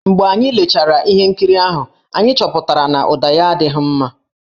Mgbe anyị lechara ihe nkiri ahụ, anyị chọpụtara na ụda ya adịghị mma.